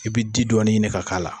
I bi di dɔɔni ɲini ka k'a la.